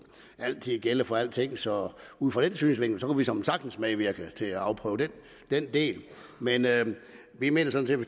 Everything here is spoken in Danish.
gælde for alting så ud fra den synsvinkel kunne vi såmænd sagtens medvirke til at afprøve den del men vi mener sådan